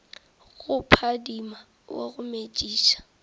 go phadima wa go metšiša